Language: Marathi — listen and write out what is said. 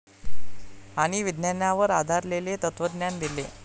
आणि विज्ञानावर आधारलेले तत्त्वज्ञान दिले.